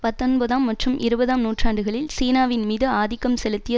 பத்தொன்பதாம் மற்றும் இருபதாம் நூற்றாண்டுகளில் சீனாவின் மீது ஆதிக்கம் செலுத்திய